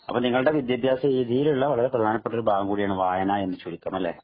അപ്പൊ നിങ്ങളുടെ വിദ്യാഭ്യാസ രീതിയിലുള്ള വളരെ പ്രധാനപ്പെട്ട രീതിയാണ് വായന എന്ന് ചുരുക്കം